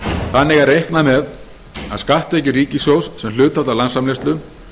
þannig er reiknað með að skatttekjur ríkissjóðs sem hlutfall af landsframleiðslu